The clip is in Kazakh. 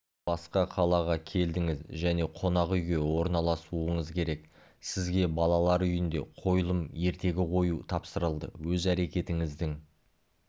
сіз басқа қалаға келдіңіз және қонақүйге орналасуыңыз керек сізге балалар үйінде қойылым-ертегі қою тапсырылды өз әрекетіңіздің